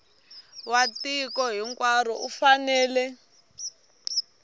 wa tiko hinkwaro u fanele